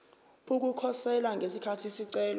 ukukhosela ngesikhathi isicelo